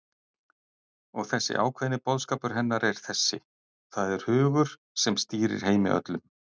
Og þessi ákveðni boðskapur hennar er þessi: Það er hugur, sem stýrir heimi öllum.